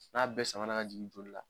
N'a bɛɛ samanan ka jigin joli la,